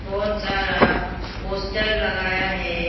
बहोत सारा पोस्टर लगाया है।